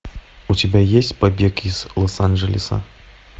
у тебя есть побег из лос анджелеса